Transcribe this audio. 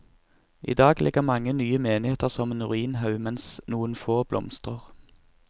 Idag ligger mange nye menigheter som en ruinhaug, mens noen få blomstrer.